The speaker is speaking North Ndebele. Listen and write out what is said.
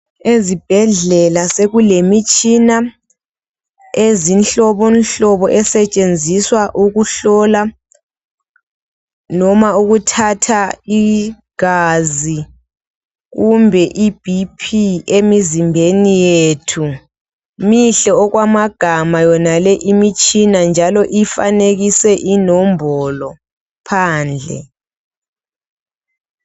Ezibhedlela sekulemitshina ezinhlobobonhlobo esetshenziswa ukuhlola noma ukuthatha igaza kumbe ibhiphi emizimbeni yethu. Mihle okwamagama yona le imitshina njalo ifanekiswe inombolo phandle.